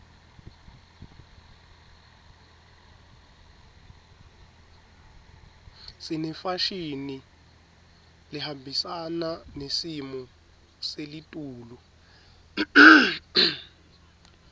sinefashini lehambisana nesimo selitulu